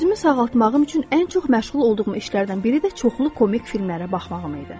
Özümü sağaltmağım üçün ən çox məşğul olduğum işlərdən biri də çoxlu komik filmlərə baxmağım idi.